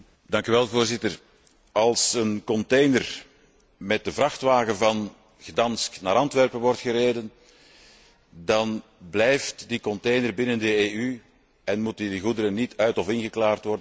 Voorzitter, als een container met de vrachtwagen van Gdansk naar Antwerpen wordt gereden, dan blijft die container binnen de EU en moeten die goederen niet uit of ingeklaard worden.